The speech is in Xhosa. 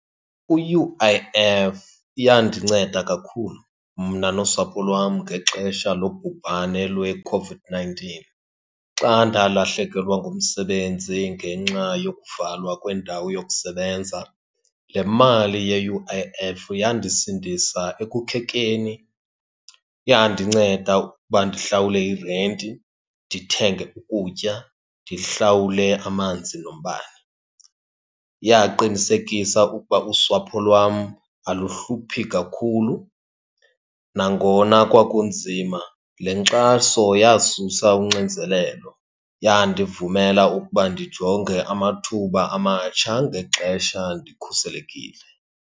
U-U_I_F yandinceda kakhulu mna nosapho lwam ngexesha lobhubhane lweCOVID-nineteen xa ndalahlekelwa ngumsebenzi ngenxa yokuvalwa kwendawo yokusebenza. Le mali ye-U_I_F yandisindisa ekukhekeni, yandinceda ukuba ndihlawule irenti, ndithenge ukutya, ndihlawule amanzi nombane. Yaqinisekisa ukuba usapho lwam aluhluphi kakhulu nangona kwakunzima. Le nkxaso yasusa unxinzelelo, yandivumela ukuba ndijonge amathuba amatsha ngexesha ndikhuselekile.